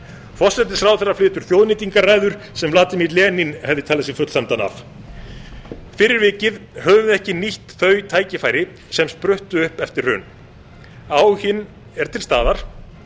forsætisráðherra flytur þjóðnýtingarræður sem vladimir engin hefði talið sig fullsæmdan af fyrir vikið höfum við ekki nýtt þau tækifæri sem spruttu upp eftir hrun áhuginn er til staðar